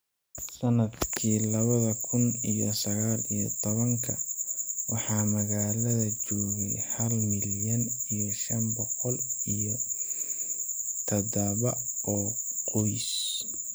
Sannadkii labada kun iyo sagal iyo tobanka , waxaa magaalada joogay hal milyan iyo shan boqol iyo tadaba oo qoys